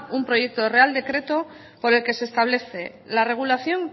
un proyecto de real decreto por el que se establece la regulación